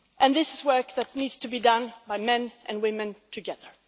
This is work that needs to be done by men and women together.